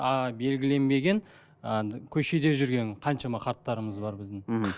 а белгіленбеген ы көшеде жүрген қаншама қарттарымыз бар біздің мхм